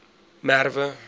merwe